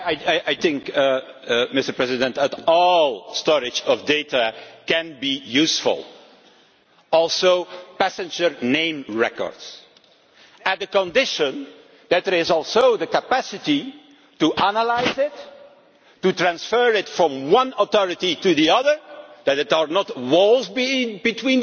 All storage of data can be useful, including passenger name records, on the condition that there is the capacity to analyse it, to transfer it from one authority to the other, and that there are no walls between the different databases. That is